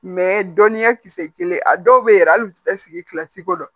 dɔnniya kisɛ kelen a dɔw be yɛrɛ hali u te sigi kilasi ko don